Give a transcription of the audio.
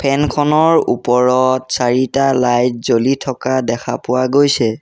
ফেন খনৰ ওপৰত চাৰিটা লাইট জ্বলি থকা দেখা পোৱা গৈছে।